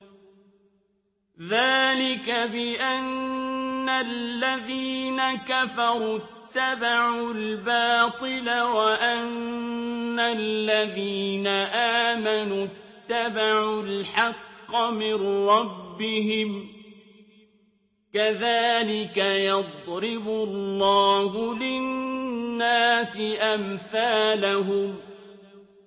ذَٰلِكَ بِأَنَّ الَّذِينَ كَفَرُوا اتَّبَعُوا الْبَاطِلَ وَأَنَّ الَّذِينَ آمَنُوا اتَّبَعُوا الْحَقَّ مِن رَّبِّهِمْ ۚ كَذَٰلِكَ يَضْرِبُ اللَّهُ لِلنَّاسِ أَمْثَالَهُمْ